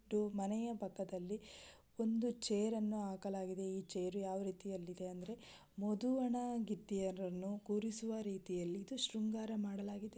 ಒಂದು ಮನೆಯ ಪಕ್ಕದಲಿ ಒಂದು ಛೈರ್ ಅನ್ನೂ ಹಾಕಲಾಗಿದೆ. ಈ ಛೈರ್ ಯಾವ ರೀತಿಯಲ್ಲಿ ಇದೆ ಅಂದರೆ ಮಧುವನಗಿತ್ತಿಯರನ್ನು ಕೂರಿಸುವ ರೀತಿಯಲ್ಲಿ ಇದು ಶೃಂಗಾರ ಮಾಡಲಾಗಿದೆ.